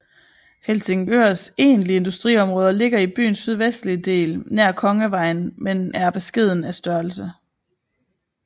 Helsingørs egentlige industriområder ligger i byens sydvestlige del nær Kongevejen men er af beskeden størrelse